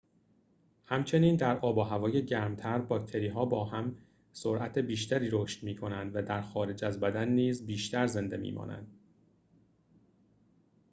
همچنین در آب و هوای گرم‌تر باکتری‌ها هم با سرعت بیشتری رشد می‌کنند و در خارج از بدن نیز بیشتر زنده می‌مانند